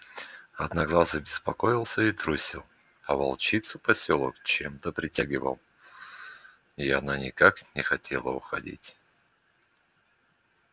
одноглазый беспокоился и трусил а волчицу посёлок чем то притягивал и она никак не хотела уходить